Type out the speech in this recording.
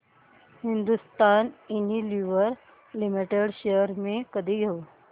Hindustan Unilever limited shares मी कधी घेऊ